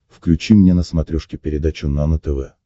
включи мне на смотрешке передачу нано тв